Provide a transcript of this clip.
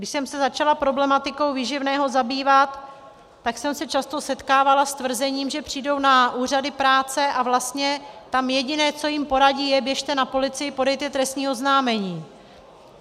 Když jsem se začala problematikou výživného zabývat, tak jsem se často setkávala s tvrzením, že přijdou na úřady práce a vlastně tam jediné, co jim poradí, je: běžte na policii, podejte trestní oznámení.